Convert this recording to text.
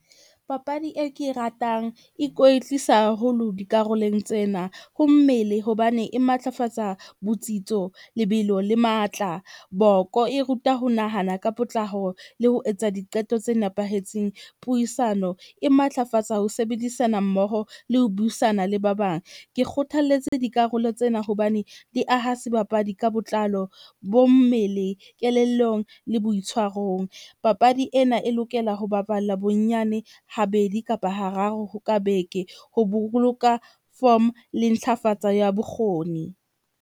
Papadi e ke e ratang ikwetlisa haholo dikarolong tsena. Ho mmele hobane e matlafatsa botsitso, lebelo le matla, boko e ruta ho nahana ka potlako le ho etsa diqeto tse nepahetseng. Puisano e matlafatsa ho sebedisana mmoho le ho buisana le ba bang. Ke kgothalletse dikarolo tsena hobane di aha sebapadi ka botlalo bo mmele, kelellong le boitshwarong. Papadi ena e lokela ho baballa bonyane ha bedi kapa ha raro ka beke. Ho boloka form le ntlafatsa ya bokgoni.